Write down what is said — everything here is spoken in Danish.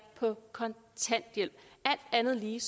på kontanthjælp alt andet lige